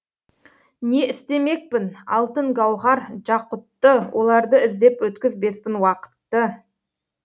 не істемекпін алтын гауһар жақұтты оларды іздеп өткізбеспін уақытты